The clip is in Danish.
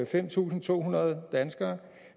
fem tusind to hundrede danskere